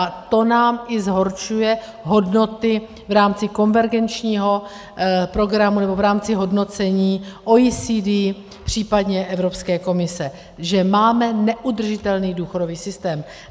A to nám i zhoršuje hodnoty v rámci konvergenčního programu nebo v rámci hodnocení OECD, případně Evropské komise, že máme neudržitelný důchodový systém.